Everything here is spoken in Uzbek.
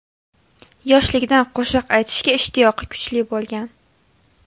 Yoshiligidan qo‘shiq aytishga ishtiyoqi kuchli bo‘lgan.